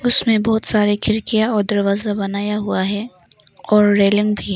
उसमे बहोत सारे खिड़कियाँ और दरवाजा बनाया हुआ है और रेलिंग भी।